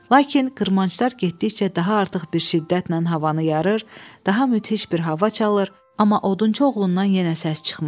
Lakin qırmanclar getdikcə daha artıq bir şiddətlə havanı yarır, daha müthiş bir hava çalır, amma odunçu oğlundan yenə səs çıxmırdı.